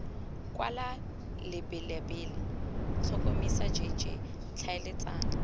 kwala lebelela tlhotlhomisa jj tlhaeletsano